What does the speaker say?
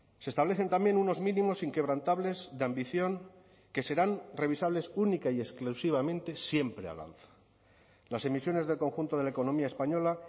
se establecen también unos mínimos inquebrantables de ambición que serán revisables única y exclusivamente siempre al alza las emisiones del conjunto de la economía española